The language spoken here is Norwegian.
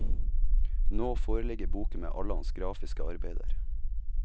Nå foreligger boken med alle hans grafiske arbeider.